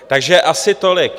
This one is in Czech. Takže asi tolik.